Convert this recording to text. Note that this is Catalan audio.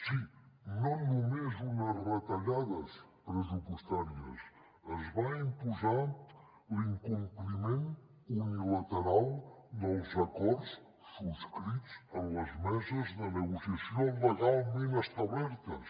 sí no només unes retallades pressupostàries es va imposar l’incompliment unilateral dels acords subscrits en les meses de negociació legalment establertes